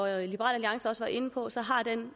alliance også var inde på så har den